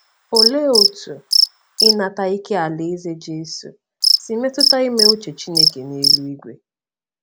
Olee otú Ịnata ike Alaeze Jesu si metụta ime uche Chineke n’eluigwe?